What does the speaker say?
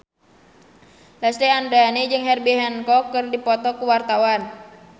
Lesti Andryani jeung Herbie Hancock keur dipoto ku wartawan